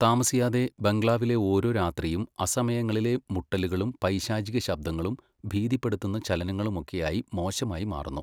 താമസിയാതെ, ബംഗ്ലാവിലെ ഓരോ രാത്രിയും അസമയങ്ങളിലെ മുട്ടലുകളും പൈശാചിക ശബ്ദങ്ങളും ഭീതിപ്പെടുത്തുന്ന ചലനങ്ങളുമൊക്കെയായി മോശമായി മാറുന്നു.